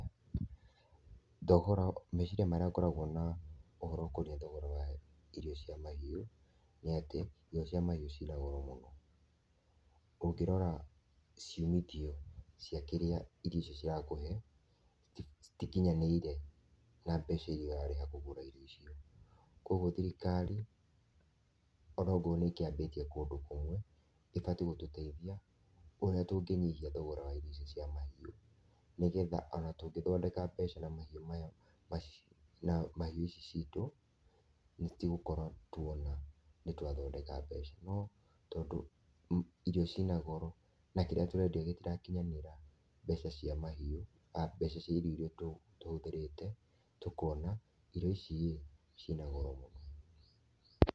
Thogora , meciria marĩa ngoragwo na ũhoro ũkonie thogora wa irio cia mahĩu nĩatĩ irio cia mahiũ cĩna goro mũno, ũngĩrora ciumithio cia kĩrĩa irio icio cirakũhe ,citikinyanĩire na mbeca iria ũrarĩha kũgũra irio icio, kwa ũgũo thirikarĩ onakorwo nĩ ĩkĩambĩtie kũndũ kũmwe ĩbatie gũtũteithia ũrĩa tũngĩnyihia thogora wa irio icio cia mahiũ nĩgetha ũna tũngĩthondeka mbeca na mahiũ maya na mahiũ ici cĩitũ nĩtũgũkorwo twona nĩtwathondeka mbeca no tondũ irio cĩina goro na kĩrĩa tũrendia gĩtirakinyanĩra mbeca cia mahiũ, mbeca cia irio iria tũhũthĩrĩte tũkona irio ici cĩina goro mũno.